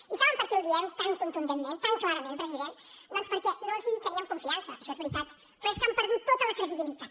i saben per què ho diem tan contundentment tan clarament president doncs perquè no els teníem confiança això és veritat però és que han perdut tota la credibilitat